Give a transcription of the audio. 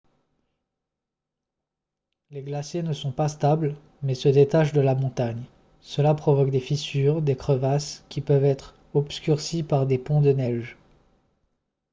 les glaciers ne sont pas stables mais se détachent de la montagne cela provoque des fissures des crevasses qui peuvent être obscurcies par des ponts de neige